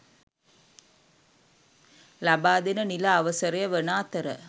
ලබාදෙන නිල අවසරය වන අතර